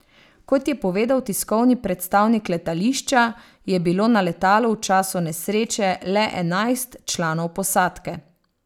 Kot je povedal tiskovni predstavnik letališča, je bilo na letalu v času nesreče le enajst članov posadke.